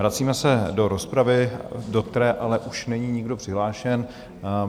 Vracíme se do rozpravy, do které ale už není nikdo přihlášen.